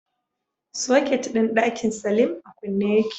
Soket din dakin salim a kunne yake